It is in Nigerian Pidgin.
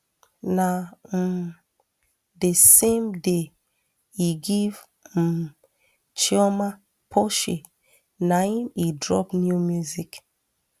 na um di same day e give um chioma porshe na im e drop new music